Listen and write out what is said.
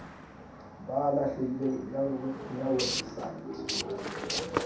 ba lahlehileng e ya weposaeteng